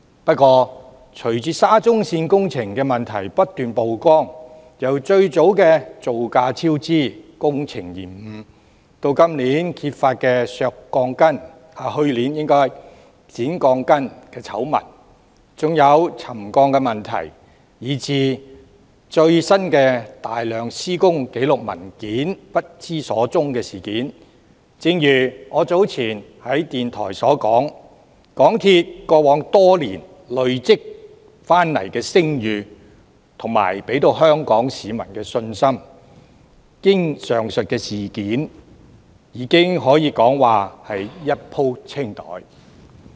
不過，隨着沙中線工程問題不斷曝光，由最早的造價超支、工程延誤，到去年揭發的削鋼筋醜聞、沉降問題，以至最新大量施工紀錄文件不知所終的事件，正如我早前在電台所說，港鐵公司在過往多年累積的聲譽和香港市民對它的信心，經歷上述事件後可謂已一鋪清袋。